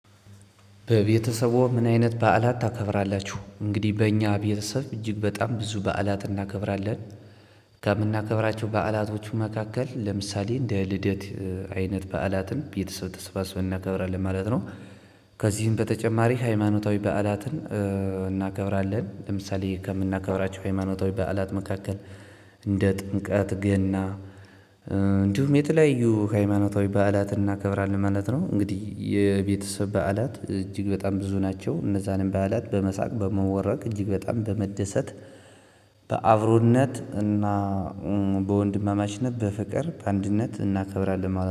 በቤተሰብዎ? ምን አይነት በዓላት ታከብራላችሁ እንግዲህ በእኛ ቤተሰብ እጅግ በጣም ብዙ በዓላት እናከብራለን። ከምናከብራቸው በዓላቶቹ መካከል ለምሳሌ እንደ ልደት አይነት በዓላትን ቤተሰብ ተሰባስበን እናከብራለን ማለት ነው። ከዚህም በተጨማሪ ሃይማኖታዊ በዓላትን እናከብራለን ለምሳሌ ከምናከብራቸው ሃይማኖታዊ በዓላት መካከል። እንደ ጥምቀት ገና። የተለያዩ ሃይማኖታዊ በዓላትን እናከብራለን ማለት ነው። እንግዲህ የቤተሰብ በዓላት እጅግ በጣም ብዙ ናቸው። እነዛንም በዓላት በመሳቅ በመቦረቅ እጅግ በጣም በመደሰት። በአብሮነት እና በወንድማማችነት በፍቅር በአንድነት እናከብራለን